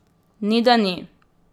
Ni, da ni.